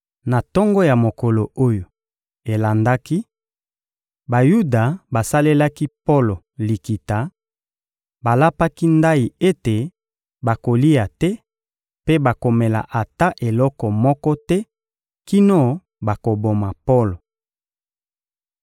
Na tongo ya mokolo oyo elandaki, Bayuda basalelaki Polo likita; balapaki ndayi ete bakolia te mpe bakomela ata eloko moko te kino bakoboma Polo.